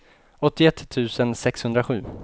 åttioett tusen sexhundrasju